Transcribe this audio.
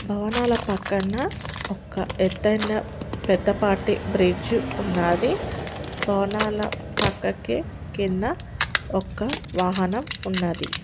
భవనాల పక్కన్న ఒక్క ఎత్తైన పెద్ద పాటి బ్రిడ్జు ఉన్నాది. భవనాల పక్కకి కింద ఒక్క వాహనం ఉన్నది.